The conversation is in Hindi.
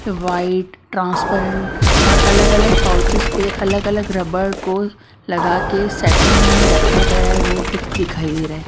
वाइट ट्रांसपरेंट और अलग अलग पाउचेस पे अलग अलग रबर को लगा के सेटलमेंट में रखा गया है वो दिखाई दे रहा है।